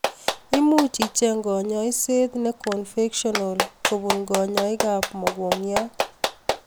Imuuch icheng kanyaeset nee convectional kobun kanyaik ab mogongiot